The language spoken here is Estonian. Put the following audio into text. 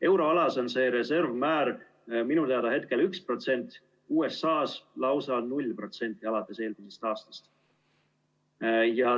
Euroalas on see reservmäär minu teada hetkel 1%, USA-s lausa 0% alates eelmisest aastast.